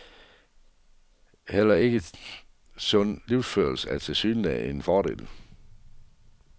Heller ikke sund livsførelse er tilsyneladende en fordel.